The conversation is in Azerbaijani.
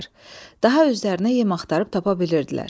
Daha özlərinə yem axtarıb tapa bilirdilər.